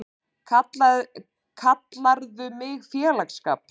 Kallarðu mig félagsskap?!